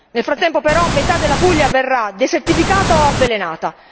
Nel frattempo però metà della Puglia verrà desertificata o avvelenata.